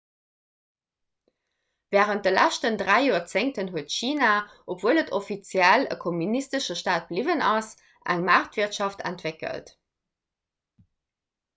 wärend de leschten dräi joerzéngten huet china obwuel et offiziell e kommunistesche staat bliwwen ass eng maartwirtschaft entwéckelt